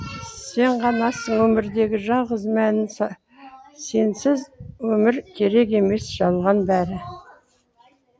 сен ғанасың өмірдегі жалғыз мәні сенсіз өмір керек емес жалған бәрі